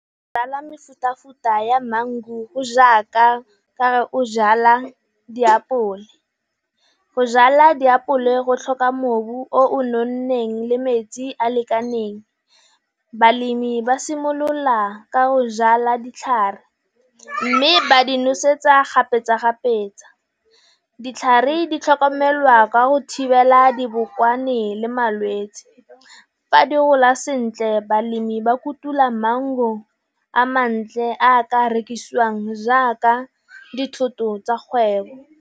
Go jala mefuta futa ya mangu go jaaka kare o jala diapole, go jala diapole go tlhoka mobu o o nonneng le metsi a lekaneng. Balemi ba simolola ka go jala ditlhare, mme ba di nosetsa kgapetsa-kgapetsa, ditlhare di tlhokomelwa ka go thibela dibokwane le malwetsi. Fa di gola sentle balemi ba kutula mango a mantle a ka rekisiwang jaaka dithoto tsa kgwebo.